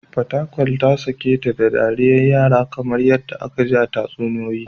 Fatakwal ta sake ta da dariyar yara kamar yadda aka ji tatsuniyoyi